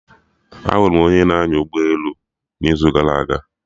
Ahụrụ m onye na-anya ụgbọ elu n'izu gara aga